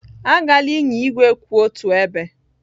Agala ịnya igwe kwụ otu ebe!